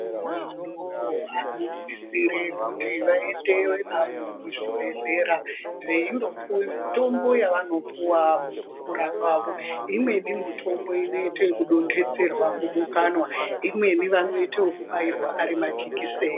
Ana adoko anosisire kuti vaendeve navo kuzvibhehlera veindopuwe mitombo yavanopuwa imweni mutombo inoite ekudonhedzerwa mumukanwa imweni vanoite ekubairwa ari majekiseni.